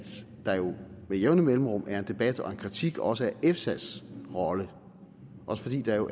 der jo med jævne mellemrum er en debat og en kritik af også efsas rolle også fordi der jo